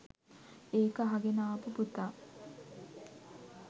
ඒක අහගෙන ආපු පුතා